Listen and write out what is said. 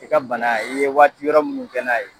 I ka bana i ye waati wɛrɛ munnu kɛ n'a ye